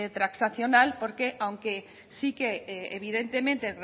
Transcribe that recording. transaccional porque aunque sí que evidentemente